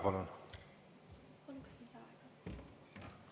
Palun!